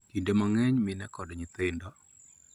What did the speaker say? Kinde mang�eny mine kod nyithindo .